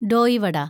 Doe വട